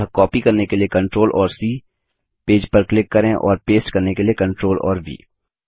अतः कॉपी करने के लिए Ctrl और सी पेज पर क्लिक करें और पेस्ट करने के लिए Ctrl और व